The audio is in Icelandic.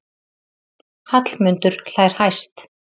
Hallmundur hlær hæst.